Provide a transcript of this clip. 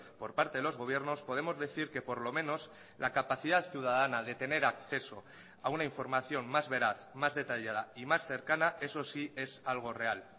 por parte de los gobiernos podemos decir que por lo menos la capacidad ciudadana de tener acceso a una información más veraz más detallada y más cercana eso sí es algo real